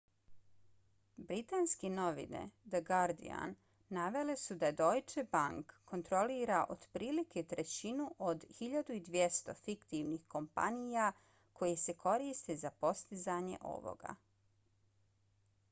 britanske novine the guardian navele su da deutsche bank kontrolira otprilike trećinu od 1200 fiktivnih kompanija koje se koriste za postizanje ovoga